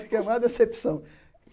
Fiquei a maior decepção.